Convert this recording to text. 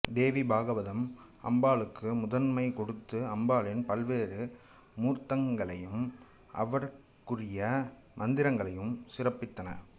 தேவி பாகவதம் அம்பாளுக்கு முதன்மை கொடுத்து அம்பாளின் பல்வேறு மூர்த்தங்களையும் அவற்றுக்குரிய மந்திரங்களையும் சிறப்பித்தன